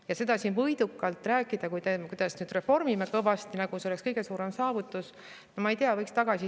Ja seda siin võidukalt rääkida, kuidas me nüüd reformime kõvasti, nagu see oleks kõige suurem saavutus – no ma ei tea!